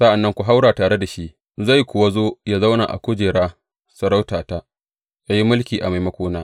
Sa’an nan ku haura tare da shi, zai kuwa zo yă zauna a kujera sarautata, yă yi mulki a maimakona.